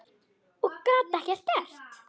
Og gat ekkert gert.